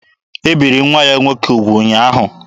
E biri nwa ya nwoke ugwu ụnyaahụ.